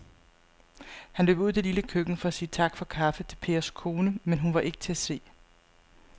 Han løb ud i det lille køkken for at sige tak for kaffe til Pers kone, men hun var ikke til at se.